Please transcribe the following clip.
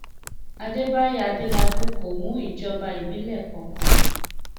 àdẹbàyò adélábù kò mú ìjọba ìbílẹ kankan